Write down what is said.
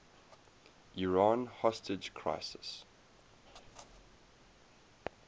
iran hostage crisis